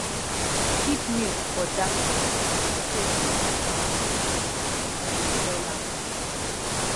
keep milk for dark container so sun um no go spoil am